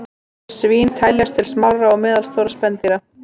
Svín teljast til smárra og meðalstórra spendýra.